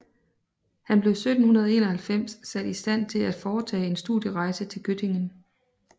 Han blev 1791 sat i Stand til at foretage en studierejse til Göttingen